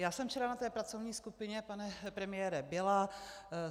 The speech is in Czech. Já jsem včera na té pracovní skupině, pane premiére, byla.